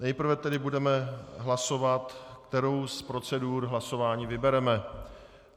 Nejprve tedy budeme hlasovat, kterou z procedur hlasování vybereme.